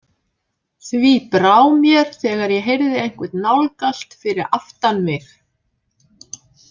Því brá mér þegar ég heyrði einhvern nálgast fyrir aftan mig.